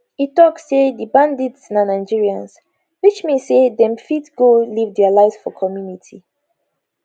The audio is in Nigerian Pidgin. e tok say di bandits na nigerians which mean say dem fit go live dia lives for community